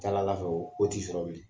fɛ o o t'i sɔrɔ bilen.